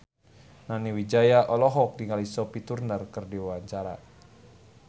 Nani Wijaya olohok ningali Sophie Turner keur diwawancara